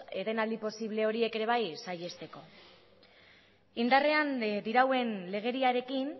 etenaldi posible horiek ere saihesteko indarrean dirauen legediarekin